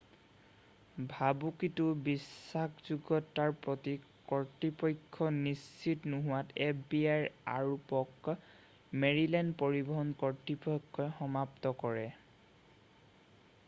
ভাবুকিটোৰ বিশ্বাসযোগ্য়তাৰ প্ৰতি কৰ্তৃপক্ষ নিশ্চিত নোহোৱাত fbiৰ আৰোপক মেৰিলেণ্ড পৰিবহন কৰ্তৃপক্ষই সমাপ্ত কৰে।